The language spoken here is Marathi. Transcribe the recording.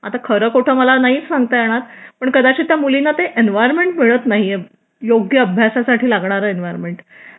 आता खरं खोटं मला माहिती नाही सांगता येणार कदाचित त्या मुलींना ते एन्व्हायरमेंट मिळत नाहीये योग्य अभ्यासासाठी लागणारे एनवोर्मेन्ट